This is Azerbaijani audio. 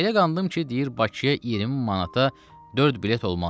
Elə qandım ki, deyir Bakıya 20 manata dörd bilet olmaz.